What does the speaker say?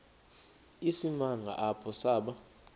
isimanga apho saba